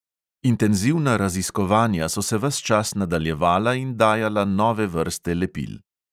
Intenzivna raziskovanja so se ves čas nadaljevala in dajala nove vrste lepil.